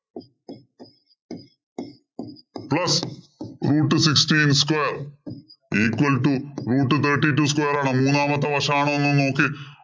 plus root sixteen square equal to root thirty two square ആണോ? മൂന്നാമത്തെ വശമാണോ എന്ന് നോക്ക്.